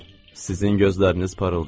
Sizin gözləriniz parıldayır.